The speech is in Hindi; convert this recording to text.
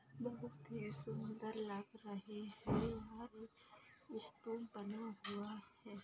बहुत ही सुंदर लाग रहे है और एक स्तूप बना हुआ है।